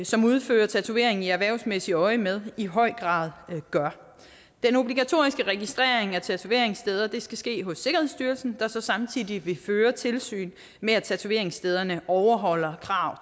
som udfører tatovering i erhvervsmæssigt øjemed i høj grad gør den obligatoriske registrering af tatoveringssteder skal ske hos sikkerhedsstyrelsen der så samtidig vil føre tilsyn med at tatoveringsstederne overholder krav